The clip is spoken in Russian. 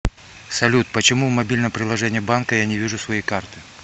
салют почему в мобильном приложении банка я не вижу свои карты